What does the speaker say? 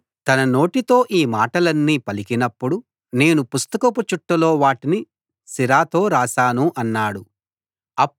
బారూకు వాళ్ళతో అతడు తన నోటితో ఈ మాటలన్నీ పలికినప్పుడు నేను పుస్తకపు చుట్టలో వాటిని సిరాతో రాశాను అన్నాడు